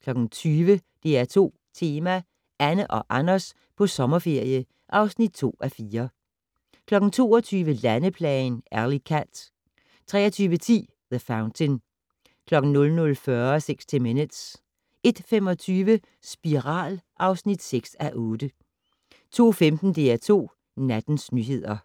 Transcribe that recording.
20:00: DR2 Tema: Anne og Anders på sommerferie (2:4) 22:00: Landeplagen - Alley Cat 23:10: The Fountain 00:40: 60 Minutes 01:25: Spiral (6:8) 02:15: DR2 Nattens nyheder